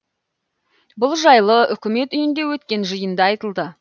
бұл жайлы үкімет үйінде өткен жиында айтылды